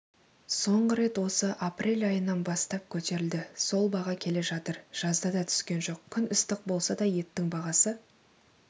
соңғы рет осы апрель айынан бастап көтерілді сол баға келе жатыр жазда да түскен жоқ күн ыстық болса да еттің бағасы